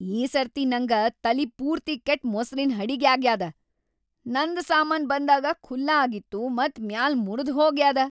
ಈ ಸರ್ತಿ ನಂಗ ತಲಿ ಪೂರ್ತಿ ಕೆಟ್ಟ್‌ ಮೊಸ್ರಿನ್ ಹಡಿಗ್ಯಾಗ್ಯಾದ. ನಂದ್‌ ಸಾಮಾನ್ ಬಂದಾಗ ಖುಲ್ಲಾ ಆಗಿತ್ತು ಮತ್‌ ಮ್ಯಾಲ್‌ ಮುರಿದ್ಹೋಗ್ಯಾದ.